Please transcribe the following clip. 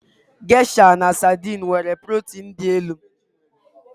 Geisha na Saidin nwere protin dị elu.